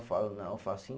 Eu falo, não, eu faço em